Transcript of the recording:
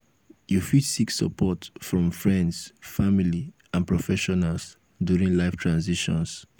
you fit seek support from friends family and professionals during life transitions.